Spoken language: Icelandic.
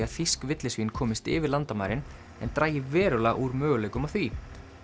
að þýsk villisvín komist yfir landamærin en dragi verulega úr möguleikum á því